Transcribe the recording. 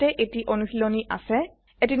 ইয়াতে এটি অনুশীলনী আছে